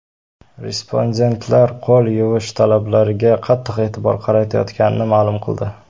Respondentlar qo‘l yuvish talablariga qattiq e’tibor qaratayotganini ma’lum qildi.